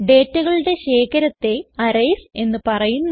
ഡേറ്റകളുടെ ശേഖരത്തെ അറേയ്സ് എന്ന് പറയുന്നു